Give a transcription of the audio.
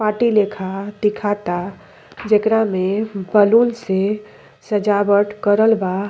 Party लेखा दिखाता। जेकरा में बलून से सजावट करल बा।